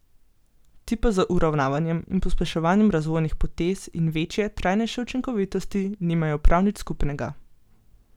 Ti pa z uravnavanjem in pospeševanjem razvojnih potez in večje, trajnejše učinkovitosti nimajo prav nič skupnega.